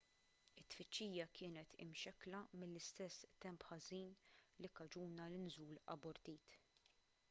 it-tfittxija kienet imxekkla mill-istess temp ħażin li kkaġuna l-inżul abortit